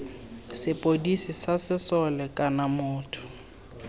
sepodisi sa sesole kana motho